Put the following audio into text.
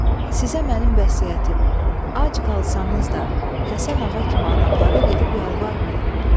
Sizə mənim vəsiyyətim: ac qalsanız da, Həsən ağa kimi adamları gedib yalvarmayın.